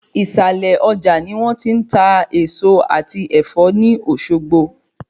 Ìsàlẹ Ọjà ni wón ti n ta Èèso àti Ẹ̀fọ́ ní Òsogbo